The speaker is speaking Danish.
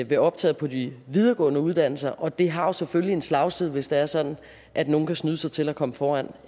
ved optaget på de videregående uddannelser og det har selvfølgelig en slagside hvis det er sådan at nogle kan snyde sig til at komme foran